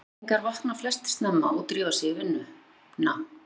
Íslendingar vakna flestir snemma og drífa sig í vinnuna.